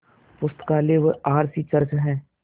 पुस्तकालय व R C church हैं